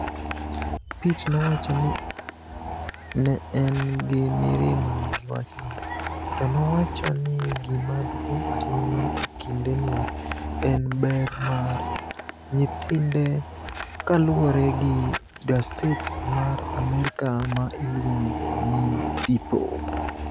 Pitt nowacho ni ne en gi mirima gi wachno to nowacho ni gima duong’ ahinya e kindeni en ber mar nyithinde, kaluwore gi gaset mar Amerka ma iluongo ni People.